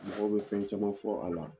Mɔgɔw bɛ fɛn caman fɔ a la.